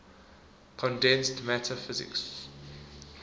condensed matter physics